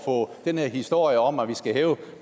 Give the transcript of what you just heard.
på den her historie om at vi skal hæve